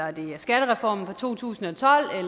er det skattereformen fra to tusind og tolv